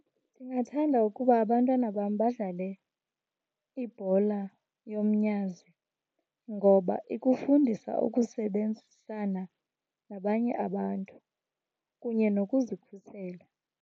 Ndingathanda ukuba abantwana bam badlale ibhola yomnyazi ngoba ikufundisa ukusebenzisana nabanye abantu kunye nokuzikhusela.